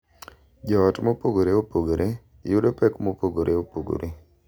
Jo ot mopogore opogore yudo pek mopogore opogore,